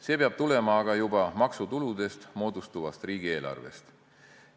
See peab tulema aga juba maksutuludest moodustuvast riigieelarvest.